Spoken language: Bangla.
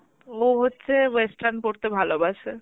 ও হচ্ছে western পড়তে ভালোবাসা.